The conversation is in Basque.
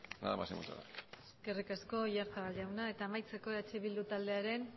nada más y muchas gracias eskerrik asko oyarzabal jauna eta amaitzeko eh bildu taldearen